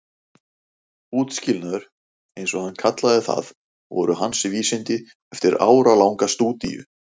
Útskilnaður- eins og hann kallaði það- voru hans vísindi eftir áralanga stúdíu.